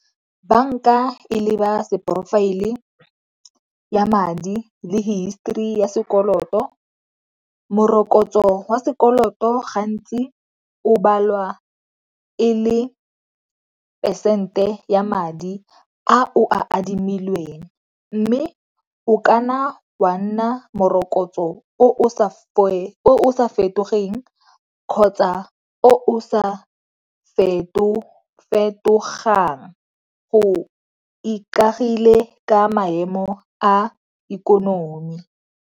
Banka e leba seporofaele ya madi le history ya sekoloto. Morokotso wa sekoloto gantsi o balwa e le phesente ya madi a o a adimileng, mme o kanna wa nna morokotso o o sa fetogeng kgotsa o sa feto-fetogang go ikaegile ka maemo a ikonomi.